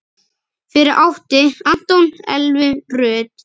Fyrir átti Anton Elvu Rut.